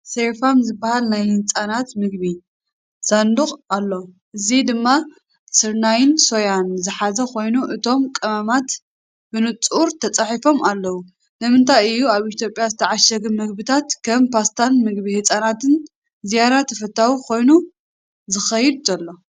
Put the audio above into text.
"ሴሪፋም" ዝበሃል ናይ ህጻናት ምግቢ ሳንዱቕ ኣሎ፡ እዚ ድማ ስርናይን ሶያን ዝሓዘ ኾይኑ፣ እቶም ቀመማት ብንጹር ተጻሒፎም ኣለዉ። ንምንታይ እዩ ኣብ ኢትዮጵያ ዝተዓሸገ ምግብታት ከም ፓስታን ምግቢ ህጻናትን ዝያዳ ተፈታዊ ኮይኑ ዝኸይድ ዘሎ?